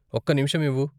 ఒక్క నిమిషం ఇవ్వు .